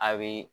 A bɛ